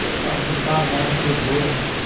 और पाकिस्तान नाम के दो